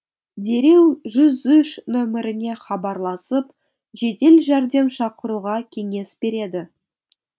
дереу жүз үш нөміріне хабарласып жедел жәрдем шақыруға кеңес береді